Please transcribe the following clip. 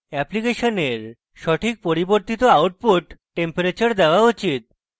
অ্যাপ্লিকেশনের সঠিক পরিবর্তিত output temperature দেওয়া উচিত